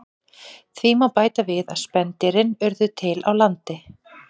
Því má bæta við að spendýrin urðu til á landi.